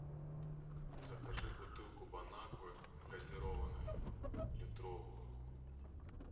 закажи бутылку бон аквы газированной литровую